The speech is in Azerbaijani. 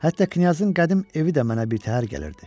Hətta knyazın qədim evi də mənə birtəhər gəlirdi.